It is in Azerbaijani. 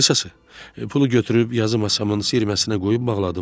Qısası, pulu götürüb yazı masamın siyirməsinə qoyub bağladım.